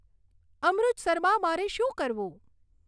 અમૃતસરમાં મારે શું કરવું